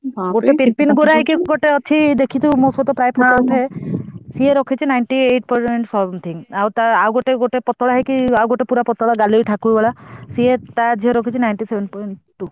ଦେଖିଥିବୁ ମୋ ଶହ ପ୍ରାୟ photo ଉଠାଏ ସିଏ ରଖିଛି ninety eight percent something ଆଉ ଟା ଆଉ ଗୋଟେ ପୁର ପତଳା ହେଇକି ଗାଲେଇ ଠାକୁର ଭଳିଆ ସିଏ ଟା ଝିଅ ରଖିଛି ninety seven point two।